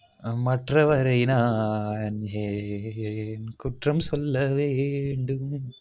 ஹம் மற்றவரை நான் ஏன் குற்றம் சொல்லவேண்டும்